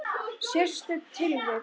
Sérstök tilvik.